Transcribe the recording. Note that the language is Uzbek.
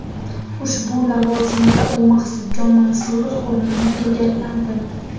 Ushbu lavozimda u Maqsudjon Mansurov o‘rnini egalladi.